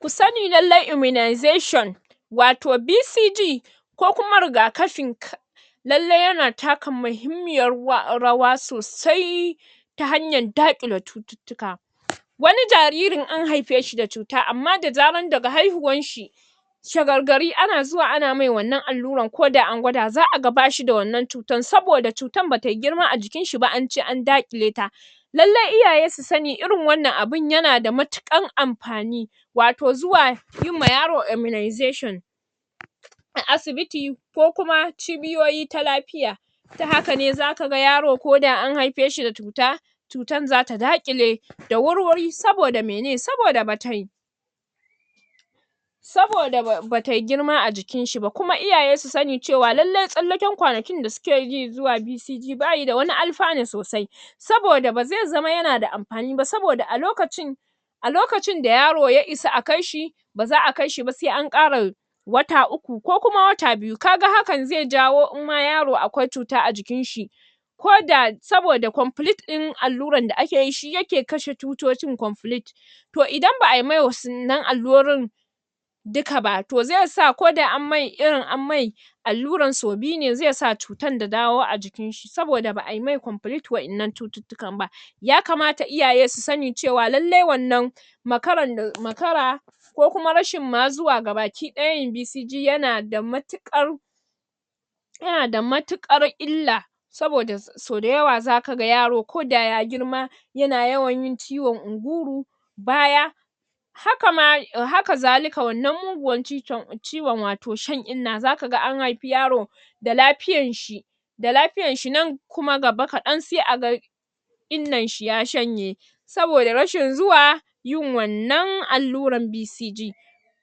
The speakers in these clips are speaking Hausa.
Kusani lallai immunization wato BCG ko kuma rigakafin ka lallai yana taka mahimmiyar ruwa rawa sosai ta hanyar daƙile cututtuka wani jaririn an haife shi da cuta amman zarar daga haiuhuwan shi shagargari ana zuwa ana mai wannan allurar ko da an gwada za'a ga bai da wannan cutar saboda cutar batayi girma a jikin shi ba anje an daƙile ta lallai iyaye su sani irin wannan abun yana da matuƙan amfani wato zuwa yima yaro immunization a asibiti ko kuma cibiyoyi ta lafiya ta hakane zaka ga yaro ko da an haife shi da cuta cutar zata daƙile da wurwurin, saboda mene saboda batai\ saboda ba ba tayi girma a jikin shi ba, kuma iyaye su sani cewa lallai tsallaken kwanakin da suke ji zuwa BCG bashi da wani alfanu sosai saboda ba zai zama yana da amfani ba saboda a lokacin a lokacin da yaro ya isa a kai shi ba za'a kai shi ba sai an ƙara wata uku ko kuma wata biyu, kaga hakan zai jawo in ma yaro akwai cuta a jikin shi ko da, saboda da complete ɗin allurar da ake yi shi yake kashe cutocin complete to idan ba'ayi mai um wannan allurorin duka ba, to zai sa ko da an mai, irin an mai allurar sau biyu ne, zai sa cutar ta dawo a jikin shi, saboda ba ai mai complete wa'yannan cututtukan ba yakamata iyaye su sani lallai wannan makarar um makara ko kuma rashin ma zuwa gabaki ɗaya yin BCG yana da matuƙar yana da matuƙar illa saboda sau da yawa zaka ga yaro ko da ya girma yana yawan yin ciwon inguro baya hakama, hakazalika wannan muguwar cicon ciwon wato shan inna, zaka ga an haifi yaro da lafiayr shi da lafiyan shi nan kuma gaba kaɗan sai aga innan shi ya shanye saboda rashin zuwa yin wannan allurar BCG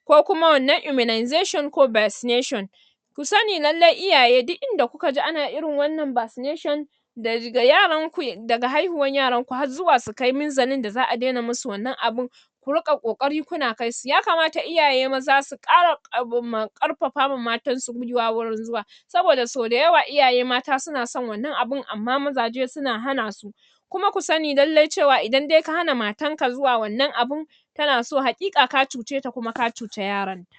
ko kuma wannan immunization ko vaccination ku sani lallai iyaye duk inda kuka ji ana irin wannan vaccination da um yaran ku, daga haihuwar yaran ku har zuwa su kai mizalin da za'a daina musu wannan abun ku riƙa ƙoƙari kuna kai su, yakamata iyaye maza su ƙara um ƙarfafa ma matansu gwiwa wurin zuwa saboda sau da yawa iyaye mata suna son wannan abun amma mazaje suna hana su kuma ka sani lallai cewa idan dai ka hana matar ka zuwa wannan abun tana so, haƙika ka cuceta kuma ka cuta yaranta.